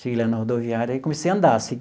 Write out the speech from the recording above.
Cheguei lá na rodoviária e comecei a andar.